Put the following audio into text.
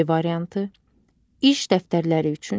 Ç variantı: iş dəftərləri üçün,